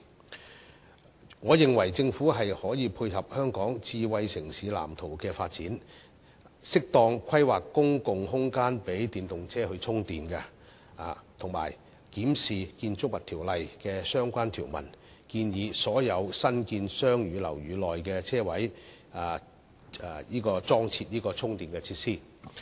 就此，我認為政府可以配合《香港智慧城市藍圖》的發展，適當規劃公共空間予電動車充電，以及檢視《建築物條例》的相關條文，建議所有新建商住樓宇內的車位都必須設置充電設施。